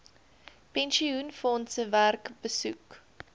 pensioenfondse werk besoek